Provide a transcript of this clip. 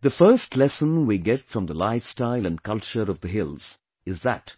The first lesson we get from the lifestyle and culture of the hills is that